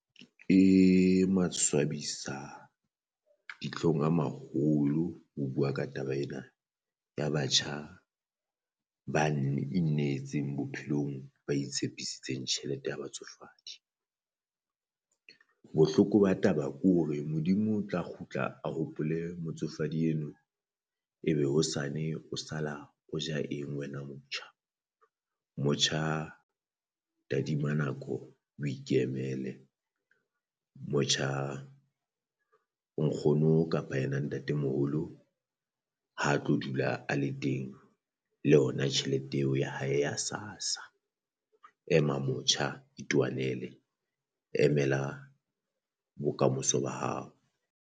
E maswabisa ditlhong a maholo ho bua ka taba ena ya batjha ba inetseng bophelong, ba itshepisitseng tjhelete ya batsofadi. Bohloko ba taba ke hore Modimo o tla kgutla a hopole motsofadi eno, ebe hosane o sala o ja eng wena motjha? Motjha tadima nako o ikemele motjha nkgono kapa ena ntatemoholo ha tlo dula a le teng le yona tjhelete eo ya hae ya SASSA. Ema motjha itwanele emela bokamoso ba hao.